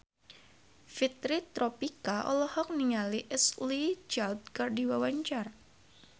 Fitri Tropika olohok ningali Ashley Judd keur diwawancara